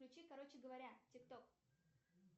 включи короче говоря тик ток